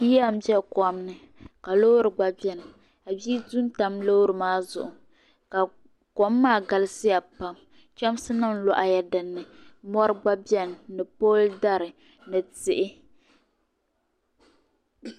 Yiya m-be kom ni ka loori gba beni ka bia du n-tam loori maa zuɣu kom maa galisiya pam chamsinima lɔhila dini mɔri gba beni ni pooli dari ni tihi.